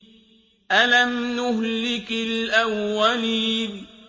أَلَمْ نُهْلِكِ الْأَوَّلِينَ